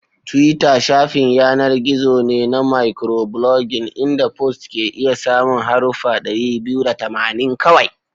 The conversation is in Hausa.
Twitter shafin yanar gizo ne na microblogging inda posts ke iya samun haruffa dari biyu da tamanin kawai.